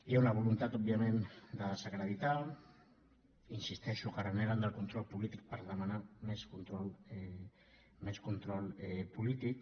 hi ha una voluntat òbviament de desacreditar insisteixo que reneguen del control polític per demanar hi més control polític